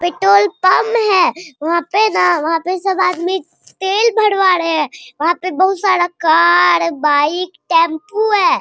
Petrol pump है वहाँ पे न वहाँ पे सब आदमी तेल भरवा रहे है वहाँ बहुत सारा कार बाइक टम्पू है।